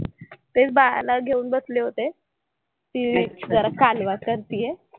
तेच बाळाला घेऊन बसले होते. ती कालवा करतेय.